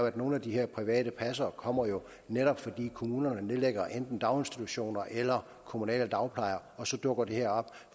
at nogle af de her private passere kommer netop fordi kommunerne nedlægger enten daginstitutioner eller kommunale dagplejer og så dukker det her op